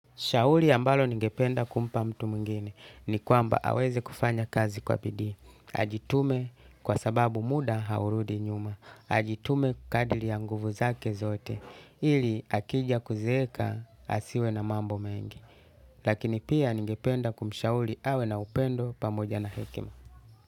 Shauri ambalo ningependa kumpa mtu mwingine ni kwamba aweze kufanya kazi kwa bidii. Ajitume, kwa sababu muda haurudi nyuma. Ajitume kadili ya nguvu zake zote ili akija kuzeeka asiwe na mambo mengi. Lakini pia ningependa kumshauri awe na upendo pamoja na hekima.